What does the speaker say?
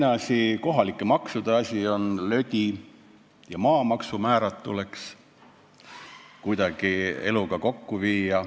Või teiseks, kohalike maksude asi on lödi ja maamaksumäärad tuleks kuidagi eluga kokku viia.